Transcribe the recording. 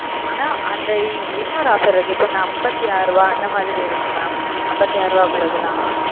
அனா ந இன்னொரு offer இருக்கு mam அம்பதுஅறுப இந்த மாரி இருக்கு ம